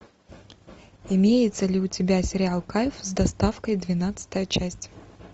имеется ли у тебя сериал кайф с доставкой двенадцатая часть